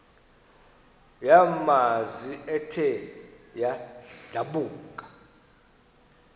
yamanzi ethe yadlabhuka